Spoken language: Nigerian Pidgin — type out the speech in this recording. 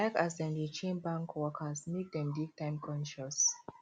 i like as dem dey train bank workers make dem dey time conscious